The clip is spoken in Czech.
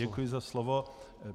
Děkuji za slovo.